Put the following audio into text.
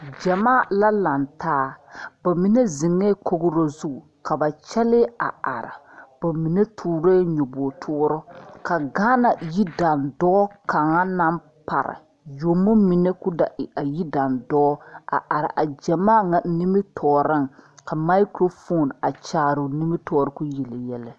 Gyamaa la lantaa ba mine zeŋɛɛ kogro zu ka ba kyɛlee a are ba mine toorɛɛ nyɔbogitoore ka Gaana yidandɔɔ kaŋa naŋ pare yuomo mine k,o da e yidandɔɔ a are a gyamaa ŋa nimitɔɔreŋ ka makurofoni a kyaare o nimitɔɔre k,o yele yɛlɛ.